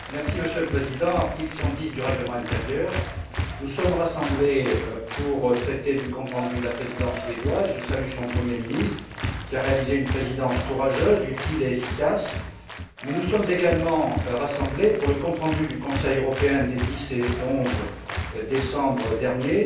Monsieur le Président, conformément à l'article 110 du règlement intérieur, nous sommes rassemblés pour traiter du compte rendu de la Présidence suédoise je salue son Premier ministre, qui a assuré une présidence courageuse, utile et efficace mais nous sommes également rassemblés pour examiner le compte rendu du Conseil européen des 10 et 11 décembre dernier.